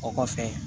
O kɔfɛ